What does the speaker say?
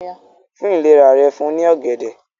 fún ìlera rẹ̀ fún ní ògèdè